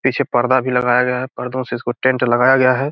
पीछे पर्दा भी लगाया गया है पर्दो से इसको टेंट लगाया गया है।